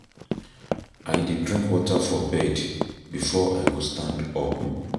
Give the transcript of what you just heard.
I dey drink water for bed before I go stand up.